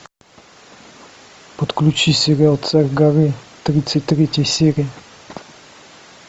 подключи сериал царь горы тридцать третья серия